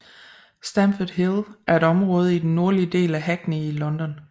Stamford Hill er et område i den nordlige del af Hackney i London